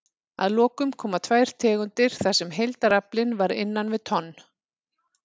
Að lokum koma tvær tegundir þar sem heildaraflinn var innan við tonn.